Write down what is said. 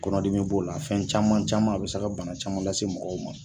Kɔnɔdimi b'o la, fɛn caman caman a bɛ se ka bana caman lase mɔgɔw ma.